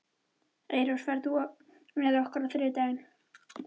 Eyrós, ferð þú með okkur á þriðjudaginn?